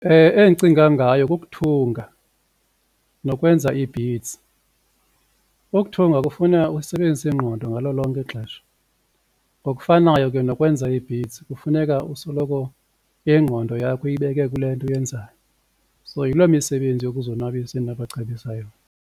Endicinga ngayo kukuthunga nokwenza ii-beads. Ukuthunga kufuna usebenzise ingqondo ngalo lonke ixesha ngokufanayo ke nokwenza ii-beads kufuneka usoloko ingqondo yakho uyibeke kule nto uyenzayo so yiloo misebenzi yokuzonwabisa endinobacebisa yona.